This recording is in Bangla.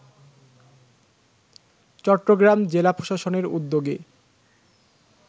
চট্টগ্রাম জেলা প্রশাসনের উদ্যোগে